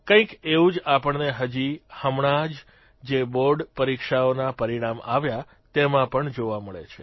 કંઇક એવું જ આપણને હજી હમણાં જ જે બોર્ડ પરીક્ષાઓના પરિણામ આવ્યા તેમાં પણ જોવા મળે છે